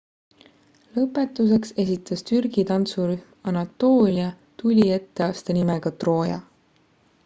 lõpetuseks esitas türgi tantsu rühm anatoolia tuli etteaste nimega trooja